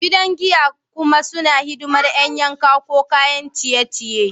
Gidajen giya kuma suna hidimar ƴan yanka ko kayan ciye-ciye.